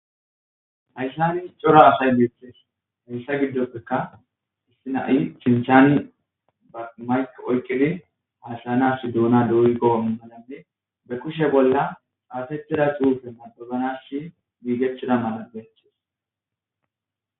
hayssani cora asay beeththees heyssa giddoppeka issi nai cinchani amayq oykkidi haasilanash duona dooy go7o malanne be kushe bolla aatetida suufenna qozanash biigechida mala benchis